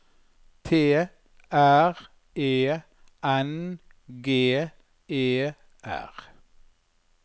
T R E N G E R